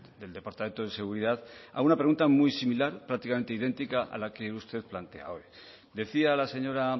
del departamento de seguridad a una pregunta muy similar prácticamente idéntica a la que usted plantea hoy decía la señora